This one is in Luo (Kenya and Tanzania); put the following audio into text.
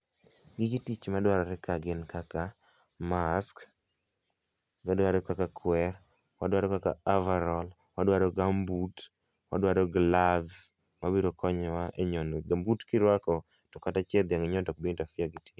Gige tich madwarore ka gin kaka mask, odwaro kaka kwer, odwaro kaka averall, odwaro gumboot, odwaro gloves mabiro konyowa e nyono. Gambut kata kirwako to kata chieth dhiang inyono to ok bi interfere gi